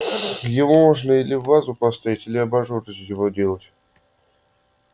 его можно или в вазу поставить или абажур из него сделать